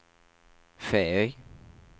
Feøy